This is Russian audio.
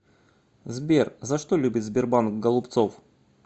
сбер за что любит сбербанк голубцов